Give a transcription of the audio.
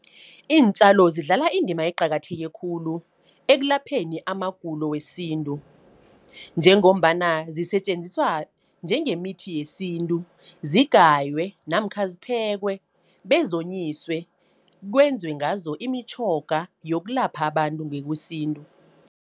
Iintjalo zidlala indima eqakatheke khulu, ekulapheni amagulo wesintu. Njengombana zisetjenziswa njengemithi yesintu. Zigaywe, namkha ziphekwe, bezonyiswe, kwenzwe ngazo imitjhoga yokulapha abantu ngokwesintu.